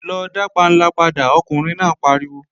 Lọ dá panla padà, ọkùnrin náà pariwo!